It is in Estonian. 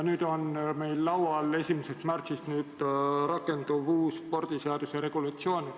Meil on laual 1. märtsist rakenduv uus spordiseaduse regulatsioon.